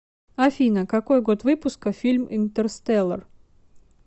афина какой год выпуска фильм интерстеллар